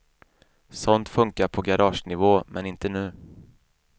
Sånt funkar på garagenivå, men inte nu.